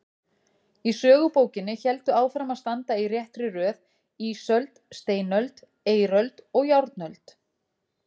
Í sögubókinni héldu áfram að standa í réttri röð ísöld, steinöld, eiröld og járnöld.